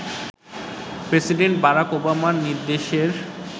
president Barack ওবামার নির্দেশের